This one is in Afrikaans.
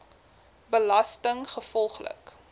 belastinggevolglik